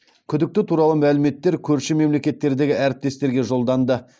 күдікті туралы мәліметтер көрші мемлекеттердегі әріптестерге жолданды